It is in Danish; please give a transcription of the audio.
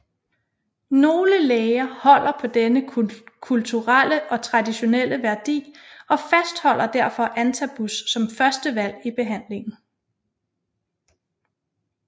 Nogle læger holder på denne kulturelle og traditionelle værdi og fastholder derfor Antabus som førstevalg i behandlingen